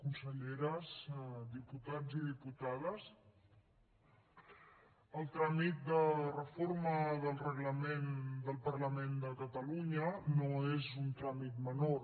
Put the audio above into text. conselleres diputats i diputades el tràmit de reforma del reglament del parlament de catalunya no és un tràmit menor